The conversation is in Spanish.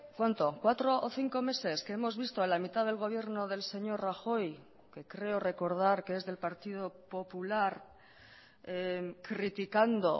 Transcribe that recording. cuánto cuatro o cinco meses que hemos visto a la mitad del gobierno del señor rajoy que creo recordar que es del partido popular criticando